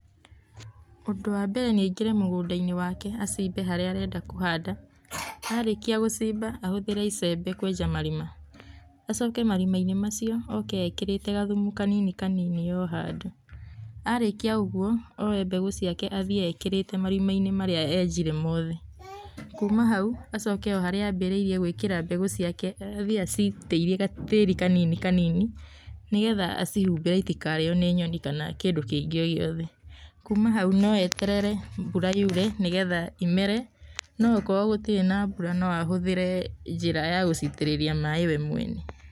Ũndũ wa mbere nĩ aingĩre mũgũnda-inĩ wake acimbe harĩa arenda kũhanda. Arĩkia gũcimba ahũthĩre icembe kwenja marima. Acoke marima-inĩ macio oke ekĩrĩte gathumu kanini kanini o handũ. Arĩkia o ũguo oye mbegũ ciake athiĩ ekĩrĩte marima-inĩ marĩa enjire mothe. Kuma hau acoke harĩa ambĩrĩirie gũĩkĩra mbegũ ciake, athiĩ acikĩirie gatĩĩri kanini kanini nĩgetha acihumbire citikarĩo nĩ nyoni kana kĩndũ kĩngĩ o gĩothe. Kuma hau no eterere mbura yure nĩgetha i mere no okorwo gũtirĩ na mbura no ahũthĩre njĩra ya gũcitĩrĩria maaĩ we mwene.